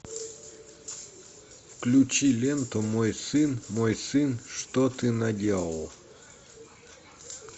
включи ленту мой сын мой сын что ты наделал